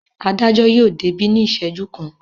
Adájọ́ yóò débí ní ìṣẹ́jú kan.